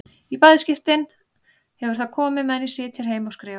Í bæði skiptin hefur það komið meðan ég sit hér heima og skrifa.